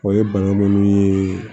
O ye bana nunnu ye